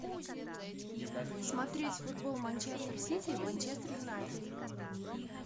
смотреть футбол манчестер сити манчестер юнайтед